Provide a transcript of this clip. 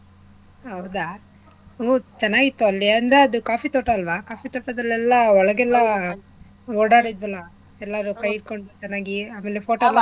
ಹೌದಾ ಹ್ಮ್ ಚೆನ್ನಾಗಿತ್ತು ಅಲ್ಲಿ ಅಂದ್ರೆ ಅದು coffee ತೋಟ ಅಲ್ವಾ coffee ತೋಟದಲ್ಲೆಲ್ಲಾ ಒಳಗೆಲ್ಲ ಓಡಾಡಿದ್ವಲ್ಲ ಎಲ್ಲಾರು ಕೈ ಹಿಡ್ಕೊಂಡು ಚೆನ್ನಾಗಿ ಆಮೇಲೆ photo